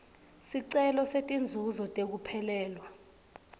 sicelo setinzuzo tekuphelelwa